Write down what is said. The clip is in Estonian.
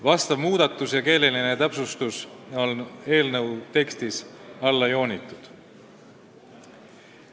Tehtud muudatus ja keeleline täpsustus on eelnõu tekstis alla joonitud.